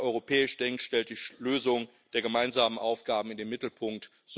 Wer europäisch denkt, stellt die Lösung der gemeinsamen Aufgaben in den Mittelpunkt.